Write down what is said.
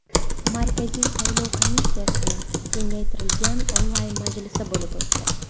Markaziy saylov komissiyasining kengaytirilgan onlayn majlisi bo‘lib o‘tdi.